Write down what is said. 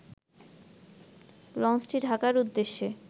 লঞ্চটি ঢাকার উদ্দেশ্যে